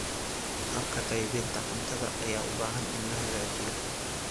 Habka qaybinta cuntada ayaa u baahan in la hagaajiyo.